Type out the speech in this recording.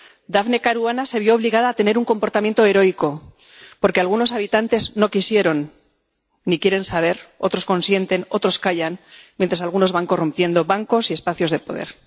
Daphne Caruana se vio obligada a tener un comportamiento heroico porque algunos habitantes no quisieron ni quieren saber, otros consienten, otros callan, mientras algunos van corrompiendo bancos y espacios de poder.